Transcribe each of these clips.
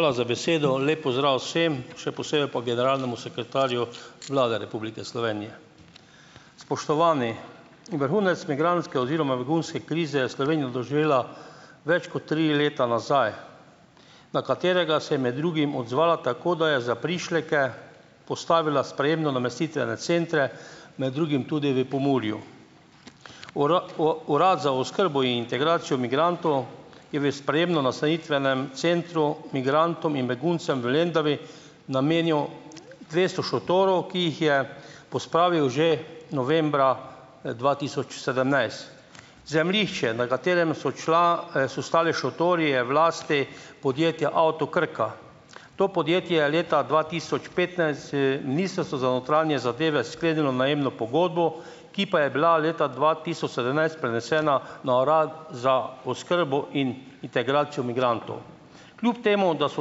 Hvala za besedo. Lep pozdrav vsem, še posebej pa generalnemu sekretarju Vlade Republike Slovenije! Spoštovani, vrhunec migrantske oziroma begunske krize je Slovenija doživela več kot tri leta nazaj, na katerega se je med drugim odzvala tako, da je za prišleke postavila sprejemno-namestitvene centre, med drugim tudi v Pomurju. Urad za oskrbo in integracijo migrantov je v sprejemno nastanitvenem centru migrantom in beguncem v Lendavi, namenjal dvesto šotorov, ki jih je pospravil že novembra, dva tisoč sedemnajst. Zemljišče, na katerem so so stali šotori, je v lasti podjetja Avto Krka. To podjetje je leta dva tisoč petnajst z Ministrstvom za notranje zadeve sklenilo najemno pogodbo, ki pa je bila leta dva tisoč sedemnajst prenesena na Urad za oskrbo in integracijo migrantov. Kljub temu da so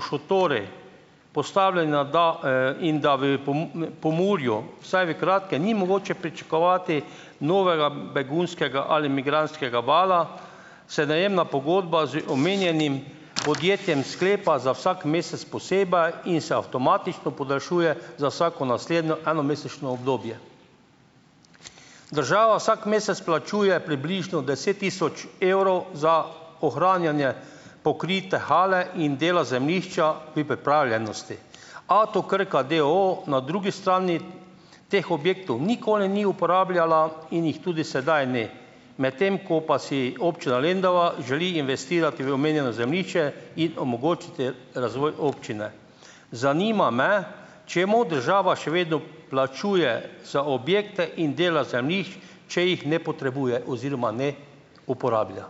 šotori postavljeni na in da v Pomurju vsaj v kratkem ni mogoče pričakovati novega begunskega ali migrantskega vala, se najemna pogodba z omenjenim podjetjem sklepa za vsak mesec posebej in se avtomatično podaljšuje za vsako naslednjo enomesečno obdobje. Država vsak mesec plačuje približno deset tisoč evrov za ohranjanje pokrite hale in dela zemljišča pri pripravljenosti. Avto Krka d. o. o. na drugi strani teh objektov nikoli ni uporabljala in jih tudi sedaj ne. Medtem ko pa si občina Lendava želi investirati v omenjeno zemljišče in omogočiti razvoj občine. Zanima me, čemu država še vedno plačuje za objekte in dela zemljišč, če jih ne potrebuje oziroma ne uporablja.